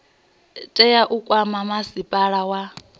tea u kwama masipala wa